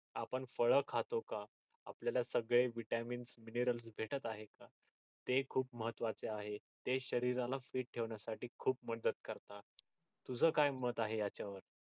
आपण फळ खातो का आपल्याला सगळे vitamins, minerals भेटत आहेत का ते खूप महत्वाच आहे ते शरीराला fit ठेवण्यासाठी खूप मदत करतात तुझं काय मत आहे याच्यावर